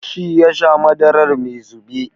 Shi yasha madarar mai zube.